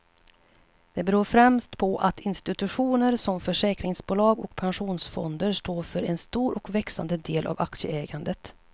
Det beror främst på att institutioner som försäkringsbolag och pensionsfonder står för en stor och växande del av aktieägandet.